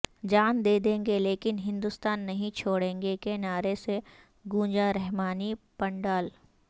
جان دے دیں گے لیکن ہندوستان نہیں چھوڑیں گے کے نعرہ سے گونجا رحمانی پنڈال